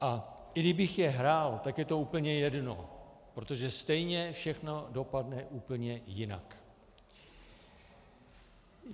A i kdybych je hrál, tak je to úplně jedno, protože stejně všechno dopadne úplně jinak.